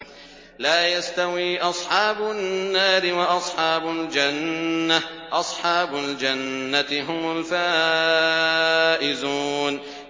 لَا يَسْتَوِي أَصْحَابُ النَّارِ وَأَصْحَابُ الْجَنَّةِ ۚ أَصْحَابُ الْجَنَّةِ هُمُ الْفَائِزُونَ